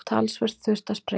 Talsvert þurfti að sprengja.